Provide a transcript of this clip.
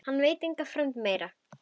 Hann veit enga fremd meiri.